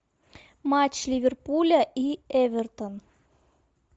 матч ливерпуля и эвертон